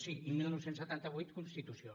sí i dinou setanta vuit constitució